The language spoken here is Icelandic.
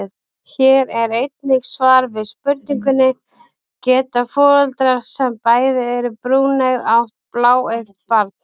Hér er einnig svar við spurningunni: Geta foreldrar sem bæði eru brúneygð átt bláeygt barn?